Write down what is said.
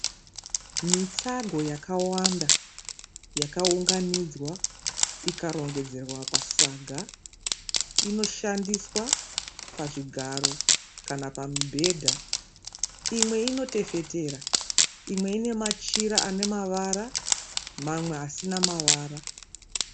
Mitsago yakawanda yakaunganidzwa ikarongedzerwa pasaga. Inoshandiswa pazvigaro kana pamibhedha. Imwe inotefetera. Imwe ine machira ane mavara mawe asina mavara.